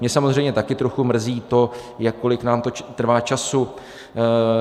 Mě samozřejmě také trochu mrzí to, kolik nám to trvá času.